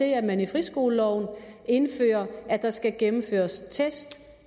at man i friskoleloven indfører at der skal gennemføres test